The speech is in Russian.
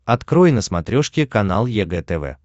открой на смотрешке канал егэ тв